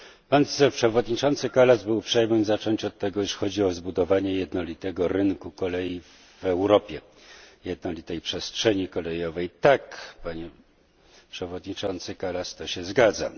Pan przewodniczący Kallas był uprzejmy zacząć od tego, że chodzi o zbudowanie jednolitego rynku kolei w Europie, jednolitej przestrzeni kolejowej. Tak, Panie Przewodniczący Kallas, to się zgadza.